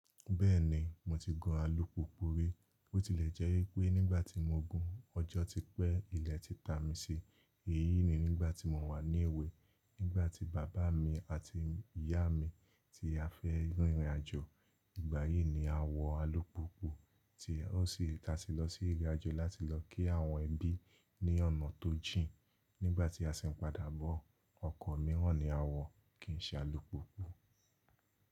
Bẹ́ẹ̀ni, mo ti gun alùpùpù rí, ó tilẹ̀ jẹ́ pé nígbà tí mo gùn, ọjọ́ ti pẹ́, ilẹ̀ ti ta mi sì. Èyí ni nígbà tí mò wà ní èwe, nígbà tí bàbá mi àti ìyá mi ti fẹ́ rin ìrìnàjò, ìgbà yìí ni a wọ alùpùpù tí ó sì ta si lọ sí ìrìnàjò láti lọ kí àwọn ẹbí ní ọ̀nà tó jìn. Nígbà tí a sì ń padà bọ̀, ọkọ̀ mìíràn ni a wọ̀ kìí ṣe alùpùpù.